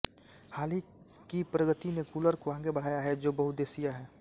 हाल की प्रगति ने कूलर को आगे बढ़ाया है जो बहुउद्देश्यीय हैं